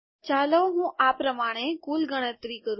ચાલો હું આ પ્રમાણે કુલ ગણતરી કરું